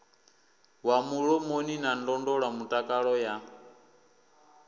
wa mulomoni na ndondolamutakalo ya